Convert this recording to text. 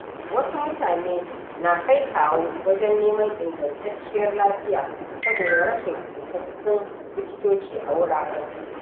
Wasu mutane na kai kawo wajen neman ingantacciyar lafiya saboda rashin isassun likitoci a wuraren su.